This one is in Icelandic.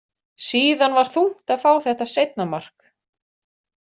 Síðan var þungt að fá þetta seinna mark.